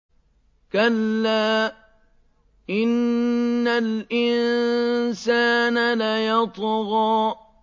كَلَّا إِنَّ الْإِنسَانَ لَيَطْغَىٰ